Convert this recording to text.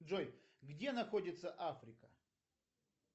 джой где находится африка